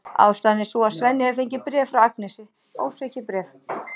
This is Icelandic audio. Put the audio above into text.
Ástæðan er sú að Svenni hefur fengið bréf frá Agnesi, ósvikið bréf!